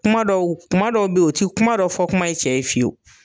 Kuma dɔw, kuma dɔw be yen o te kuma dɔ fɔ kuma ye cɛ ye fiyewu.